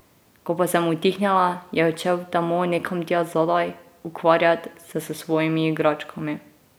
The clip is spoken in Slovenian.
Ko pa sem utihnila, je odšel v temo nekam tja zadaj, ukvarjat se s svojimi igračkami.